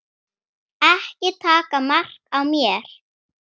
Ekki taka mark á mér.